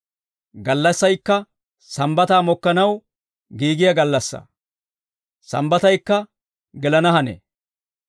Gallassaykka sambbataa mokkanaw giigiyaa gallassaa; sambbataykka gelana hanee.